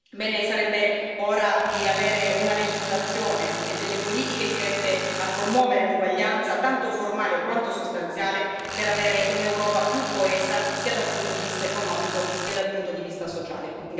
Bene, sarebbe ora di avere una legislazione e delle politiche dirette a promuovere l'uguaglianza tanto formale quanto sostanziale, per avere un'Europa più coesa sia dal punto di vista economico che dal punto di vista sociale.